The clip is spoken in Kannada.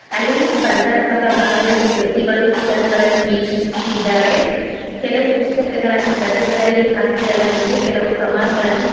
ಅಲ್ಲಿ ಸ್ಫರ್ಧಾತ್ಮಕ್ಕ ಭಾಗದಲ್ಲಿ ವ್ಯಕ್ತಿಗಳು ಪುಸ್ತಕಗಳನ್ನು ವೀಕ್ಷಿಸುತ್ತಿದ್ದಾರೆ ಕೆಲವು ಪುಸ್ತಕಗಳನು ಡಬ್ಬಿಗಳಲ್ಲಿ ಹಾಕಿ ಇಡಲಾಗಿದೆ ಕೆಲವು ಕಮಾನುಗಳನ್ನು --